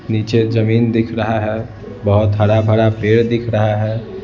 नीचे जमीन दिख रहा है बहुत हरा भरा पेड़ दिख रहा है।